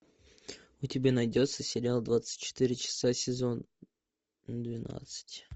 у тебя найдется сериал двадцать четыре часа сезон двенадцать